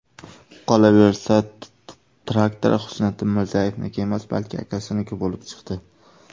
Qolaversa, traktor Husniddin Mirzayevniki emas, balki akasiniki bo‘lib chiqdi.